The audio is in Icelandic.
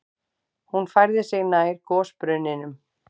Hún færði sig nær gosbrunninum.